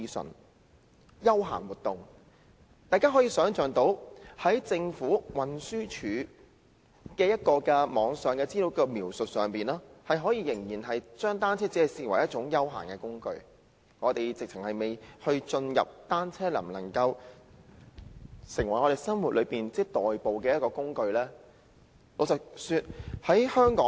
"是"休閒活動"，大家從政府在運輸署網頁資料的描述，想象到當局仍然將單車視為一種休閒工具，我們尚未進入單車可否在生活上成為代步工具的討論。